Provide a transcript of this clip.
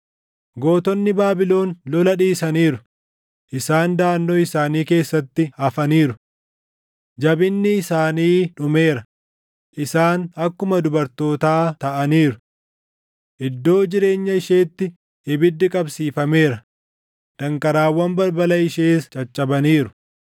Gootonni Baabilon lola dhiisaniiru; isaan daʼannoo isaanii keessatti hafaniiru. Jabinni isaanii dhumeera; isaan akkuma dubartootaa taʼaniiru. Iddoo jireenya isheetti ibiddi qabsiifameera; danqaraawwan balbala ishees caccabaniiru.